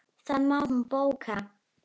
Það má hún bóka.